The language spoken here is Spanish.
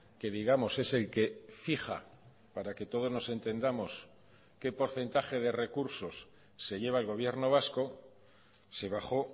que digamos es el que fija para que todos nos entendamos qué porcentaje de recursos se lleva el gobierno vasco se bajó